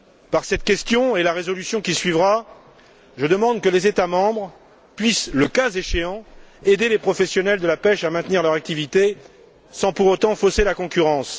Par cette question et la résolution qui suivra, je demande que les États membres puissent, le cas échéant, aider les professionnels de la pêche à maintenir leur activité sans pour autant fausser la concurrence.